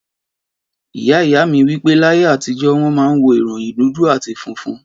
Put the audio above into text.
Ìyá ìyá mi wí pé, láyé àtijó wọn máa ń wo ìròyìn dúdú àti fúnfún